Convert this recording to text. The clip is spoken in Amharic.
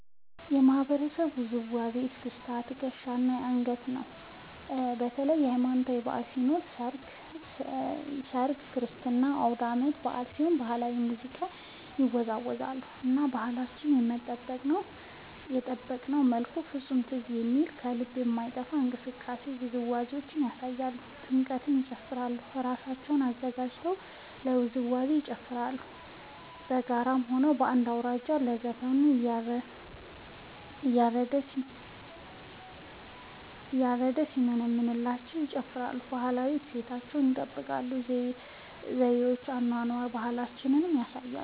የማህበረሰቡ ውዝዋዜ እስክስታ በትከሻ እና በአንገት ነው። ለተለያዪ ሀማኖታዊ በዐል ሲኖር ሰርግ ክርስትና አውዳመት በአል ሲሆን በባህላዊ ሙዚቃ ይወዛወዛሉ እና ባህላቸውን በጠበቀ መልኩ ፍፁም ትዝ በሚል ከልብ በማይጠፍ እንቅስቃሴ ውዝዋዜያቸውን ያሳያሉ። ለጥምቀት ይጨፉራሉ እራሳቸውን አዘጋጅተው ለውዝዋዜ ይጨፋራሉ በጋራ ሆነው አንድ አውራጅ አለ ዘፈኑን እያረደ ሲያሞነምንላቸው ይጨፍራሉ። ባህላዊ እሴታቸውን ይጠብቃል ዘዪቸውን የአኗኗር ባህላቸውን ያሳያሉ።